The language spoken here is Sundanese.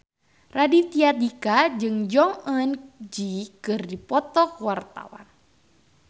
Raditya Dika jeung Jong Eun Ji keur dipoto ku wartawan